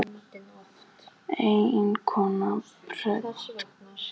Eiginkona predikarans er í stuttu pilsi og flaggar fögrum leggjum.